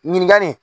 Ɲininkali